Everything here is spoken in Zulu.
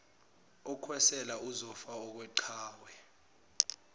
okwesela uzofa okweqhawe